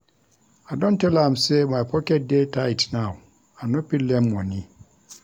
I don tell am sey my pocket dey tight now, I no fit lend moni.